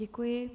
Děkuji.